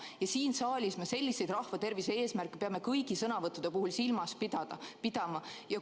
Ja siin saalis me selliseid rahvatervise eesmärke peame kõigi sõnavõttude puhul silmas pidama.